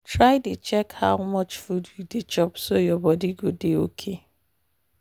try dey check how much food you dey chop so your body go dey okay.